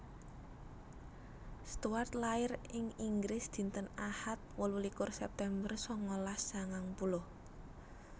Stuart lair ing Inggris dinten Ahad wolu likur September sangalas sangang puluh